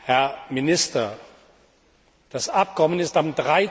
Herr Minister, das Abkommen ist am